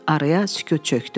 Araya sükut çökdü.